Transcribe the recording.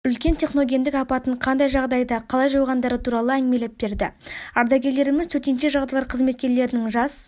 үлкен техногендік апатын қандай жағдайда қалай жойғандары туралы әңгімелеп берді ардагерлеріміз төтенше жағдайлар қызметкерлерінің жас